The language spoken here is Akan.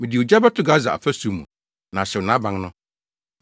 Mede ogya bɛto Gasa afasu mu, na ahyew nʼaban no.